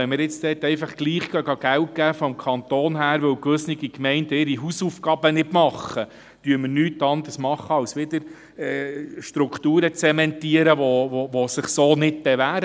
Wenn der Kanton jetzt trotzdem Geld gibt, weil gewisse Gemeinden ihre Hausaufgaben nicht machen, dann tun wir nichts anderes als Strukturen zu zementieren, die sich so nicht bewähren.